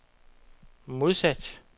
modsat